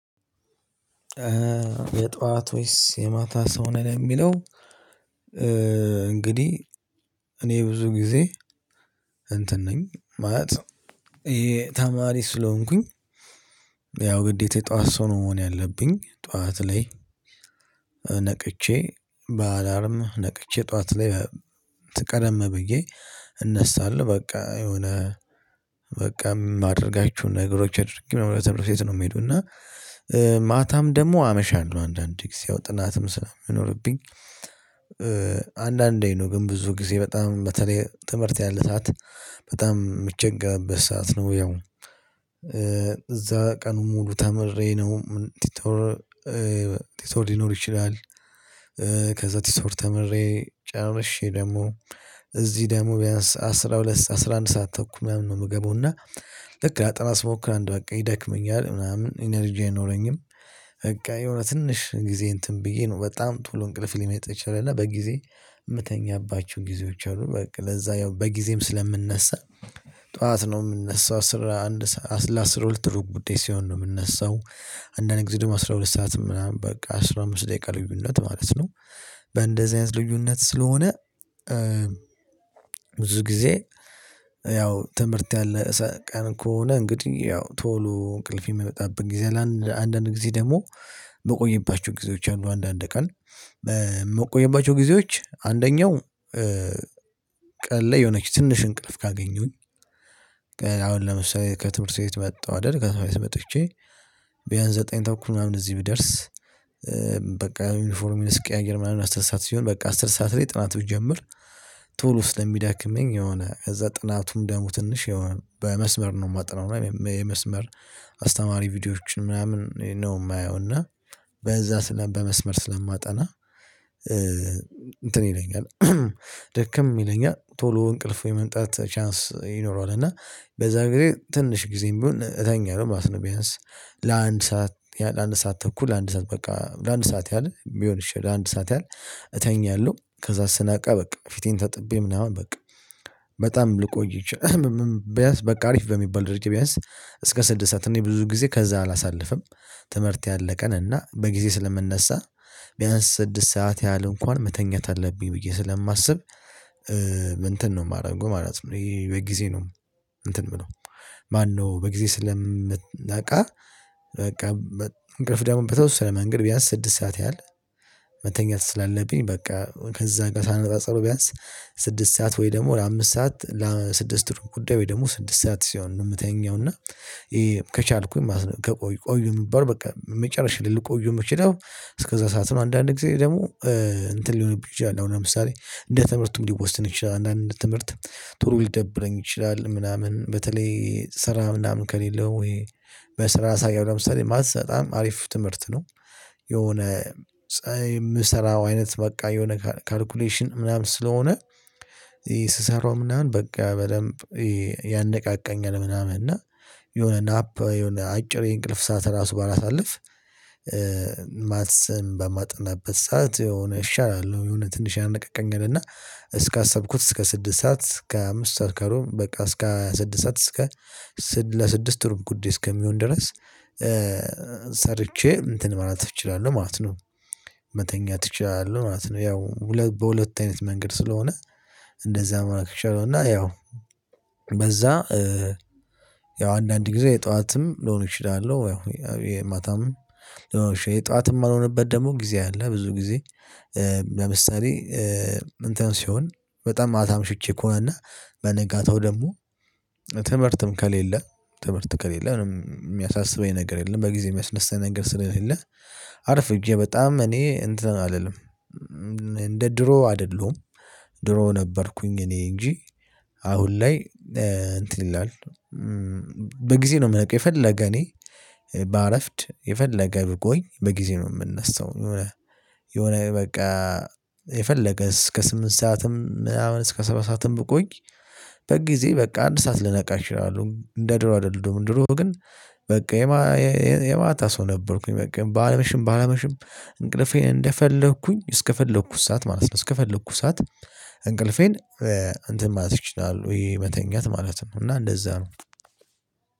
የጧት ወይስ የማታ ሰው ነን የሚለው? እንግዲህ እኔ ብዙ ጊዜ እንትን ነኝ ማለት ይሄ ተማሪ ስለሆንኩኝ። ያው ግዴታ የጧት ሰው ነው መሆን ያለብኝ ጧት ላይ ነቅቼ በአላርም ነቅቼ ጠዋት ላይ ቀደም ብዬ እነሳለሁ። በቃ የሆነ በቃ የማደርጋችሁ ነገሮች አድርጊ ትምርህት ቤት ነው የሚሄደው። እና ማታም ደግሞ አመሻለሁ አንዳንዴ ጊዜ ያው ጥናትም ስለምኖርብኝ። አንዳንዴ ነው ግን ብዙ ጊዜ በጣም በተለይ ትምህርት ያለ ሰዓት በጣም የምቸግርበት ሰዓት ነው። ያው እዛ ቀኑን ሙሉ ተምሬ ነው ቲቶር ቲቶር ሊኖር ይችላል። ቲቶኦር ተምሬ ጨርሼ ደግሞ እዚህ ደግሞ ቢያንስ አስራ ሁለት አስራ አንድ ሰዓት ተኩል ምናምን ነው የምገባው። ልክ ላጣና ስሞክር አንድ በቃ ይደክመኛል ምናምን ኢነርጂ አይኖረኝም። በቃ የሆነ ትንሽ ጊዜ እንትን ብዬ ነው በጣም ቶሎ እንቅልፍ ሊመጣ ይችላል እና በጊዜ ምተኛባችሁ ጊዜዎች አሉ። በቃ ለዛ ያው በጊዜም ስለምንነሳ ጠዋት ነው ምንነሳው አስራ አንድ ለአስራ ሁለት ሩብ ጉዳይ ሲሆን ነው ምነሳው። አንዳንድ ጊዜ ደግሞ አስራ ሁለት ሰዓትም ምናምን በቃ አስራ አምስት ደቂቃ ልዩነት ማለት ነው። በእንደዚህ አይነት ልዩነት ስለሆነ። ብዙ ጊዜ ያው ትምህርት ያለ ቀን ከሆነ እንግዲህ ያው ቶሎ እንቅልፌን የምመጣብን ጊዜ ለአንዳንድ ጊዜ ደግሞ የምቆይባቸው ጊዜዎች አሉ። አንዳንድ ቀን ምቆየባቸው ጊዜዎች አንደኛው ላይ የሆነች ትንሽ እንቅልፍ ካገኘሁኝ። አሁን ለምሳሌ ከትምህርት ቤት መጣሁ አይደል ከትምህርት ቤት መጥቼ ቢያንስ ዘጠኝ ተኩል ምናምን እዚህ ብደርስ። በቃ ዩኒፎርም ስቀያይር ምናምን አስር ሰዓት ሲሆን በቃ አስር ሰዓት ላይ ጥናት ብጀምር። ቶሎ ስለምደክመኝ የሆነ ከዛ ጥናቱም ደሞ ትንሽ የሆነ በመስመር ነው ማጠናው የመስመር አስተማሪ ቪዲዮዎችን ምናምን ነው የማየው እና በዛ በመስመር ስለማጠና። እንትን ይለኛል ደክም ይለኛል ቶሎ እንቅልፍ ወይ የመምጣት ቻንስ ይኖረዋል። እና በዛ ግዜ ትንሽ ጊዜም ቢሆን እተኛለሁ ማለት ነው። ቢያንስ ለአንድ ሰዓት ለአንድ ሰዓት ተኩል ለአንድ ሰዓት በቃ ለአንድ ሰዓት ያህል ቢሆን እሺ ለአንድ ሰዓት ያህል እተኛለሁ። ከዛ ስነቀ በቃ ፊቴን ተጥቤ ምናምን በቃ በጣም ልቆይ ቢያንስ በቃ አሪፍ በሚባል ደረጃ ቢያንስ እስከ ስድሳት እኔ ብዙ ጊዜ ከዛ አላሳልፍም። ትምህርት ያለቀንና በጊዜ ስለምነሳ ቢያንስ ስድስት ሰዓት ያህል እንኳን መተኛት አለብኝ ብዬ ስለማስብ። እንትን ነው የማደርገው ማለት ነው። ይሄ በጊዜ ነው እንትን የምለው ማነው በጊዜ ስለ ምነቃ። በቃ እንቅልፍ ደግሞ በተወሰነ መንገድ ቢያንስ ስድስት ሰዓት ያህል መተኛት ስላለብኝ። በቃ ከዛ ጋር ሳነጻጸረው ቢያንስ ስድስት ሰዓት ወይ ደግሞ ለአምስት ሰዓት ለስድስት ሩብ ጉዳይ ወይ ደግሞ ስድስት ሰዓት ሲሆን ነው ምተኛው። እና ከቻልኩኝ ማለት ነው ቆይ ቆይ በቃ መጨረሻ ልል ቆዩ የምችለው። እስከዛ ሰዓት ነው። አንዳንድ ጊዜ ደግሞ እንትን ሊሆንብህ ይችላል አሁን ለምሳሌ እንደ ትምህርቱም ሊወሰን ይችላል አንዳንድ ትምህርት ቶሎ ሊደብረኝ ይችላል ምናምን በተለይ ስራ ምናምን ከሌለው ወይ በስራ ሳይሆን ለምሳሌ ማትስ በጣም አሪፍ ትምህርት ነው። የሆነ ፀሀይ የምሰራው አይነት በቃ የሆነ ካልኩሌሽን ምናምን ስለሆነ። ስሰራው ምናምን በቃ በደንብ ያነቃቃኛል ምናምን እና የሆነ ናፕ የሆነ አጭር የእንቅልፍ ሰዓት ራሱ ባላሳልፍ። ማትሰን በማጥናበት ሰዓት የሆነ እሻላለሁ የሆነ ትንሽ ያነቃቃኛልና። እስካሰብኩት እስከ ስድስት ሰዓት እስከ አምስት ሰዓት ከሩብ እስከ ስድስት ሰዓት እስከ ስድስት ለስድስት ሩብ ጉዴ እስከሚሆን ድረስ። ሰርቼ እንትን ማለት እችላለሁ ማለት ነው። መተኛት እችላለሁ ማለት ነው ያው በሁለት አይነት መንገድ ስለሆነ። እንደዛ መሆን እችላለሁ እና ያው በዛ ያው አንዳንድ ጊዜ የጠዋትም ልሆን እችላለሁ። ያው የማታም የጠዋትም የማልሆንበት ደግሞ ጊዜ አለ። ብዙ ጊዜ ለምሳሌ እንትን ሲሆን በጣም ማታ አምሽቼ ከሆነ እና በነጋታው ደግሞ ትምህርትም ከሌለ ትምህርት ከሌለ ነው የሚያሳስበኝ ነገር የለም በጊዜ የሚያስነሳኝ ነገር ስለሌለ። አርፍጄ በጣም እኔ እንትን አልልም እንደ ድሮ አይደለሁም። ድሮ ነበርኩኝ እኔ እንጂ አሁን ላይ እንትን ይላል። በጊዜ ነው የምነቃው የፈለገ እኔ ባረፍድ የፈለገ ብቆይ በጊዜ ነው የምነሳው። የሆነ የሆነ በቃ የፈለገ እስከ ስምንት ሰዓትም ምናምን እስከ ሰባት ሰዓትም ብቆይ። በቃ ጊዜ በቃ አንድ ሰዓት ልነቃ እችላለሁ እንደ ድሮ አይደለም። ድሮ ግን በቃ የማታ ሰው ነበርኩኝ። በቃ ባመሽም ባላመሽም እንቅልፌ እንደፈለኩኝ እስከፈለኩት ሰዓት ማለት ነው። እስከፈለኩት ሰዓት እንቅልፌን እንትን ማለት ይችላል። ወይ መተኛት ማለት ነው። እና እንደዛ ነው።